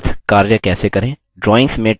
drawings में text के साथ कार्य कैसे करें